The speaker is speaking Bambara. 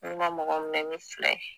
Ne ma mɔgɔ mɛni ni fila ye